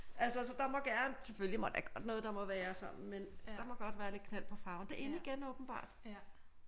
Altså så der må gerne selvfølgelig er der godt noget der må være sådan men der må godt være lidt knald på farven det er in igen åbenbart